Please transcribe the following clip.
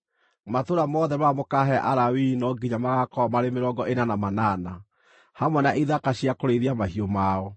Matũũra mothe marĩa mũkaahe Alawii no nginya magaakorwo marĩ mĩrongo ĩna na manana, hamwe na ithaka cia kũrĩithia mahiũ mao.